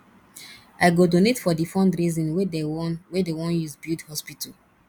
i go donate for di fundraising wey dey wan wey dey wan use build hospital